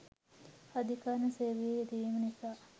අධිකරණ සේවයේ යෙදවීම නිසා